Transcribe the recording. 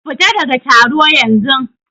Fita ɗaga taro yanzun!